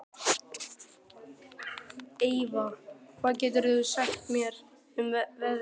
Eyva, hvað geturðu sagt mér um veðrið?